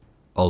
Olmaz.